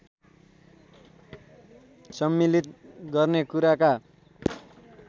सम्मिलित गर्ने कुराका